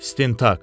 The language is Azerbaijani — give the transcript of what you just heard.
İstintaq.